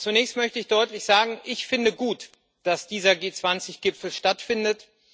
Zunächst möchte ich deutlich sagen Ich finde gut, dass dieser G20 Gipfel stattfindet.